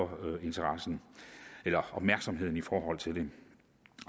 opmærksomheden i forhold til det